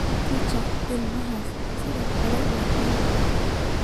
Kich ee ilmahaas sidoo kale waa adag tahay